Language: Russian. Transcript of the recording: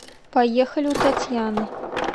поехали у татьяны